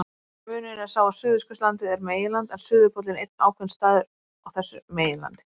Munurinn er sá að Suðurskautslandið er meginland en suðurpóllinn einn ákveðinn staður á þessu meginlandi.